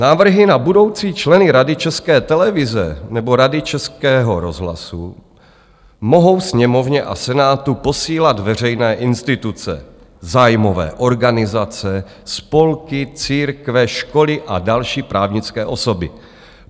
Návrhy na budoucí členy Rady České televize nebo Rady Českého rozhlasu mohou Sněmovně a Senátu posílat veřejné instituce, zájmové organizace, spolky, církve, školy a další právnické osoby.